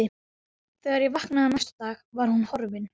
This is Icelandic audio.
Þegar ég vaknaði næsta dag var hún horfin.